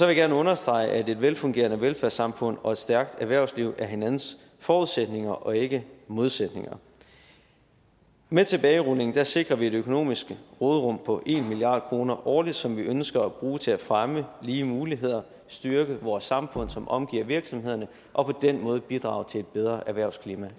jeg gerne understrege at et velfungerende velfærdssamfund og et stærkt erhvervsliv er hinandens forudsætninger og ikke modsætninger med tilbagerulningen sikrer vi det økonomiske råderum på en milliard kroner årligt som vi ønsker at bruge til at fremme lige muligheder styrke vores samfund som omgiver virksomhederne og på den måde bidrage til et bedre erhvervsklima